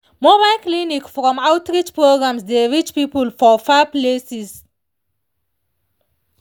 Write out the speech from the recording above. mobile clinic from outreach programs dey reach people for far places.